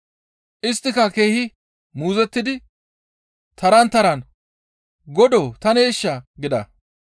Isttika keehi muuzottidi taran taran, «Godoo taneeshaa?» gida.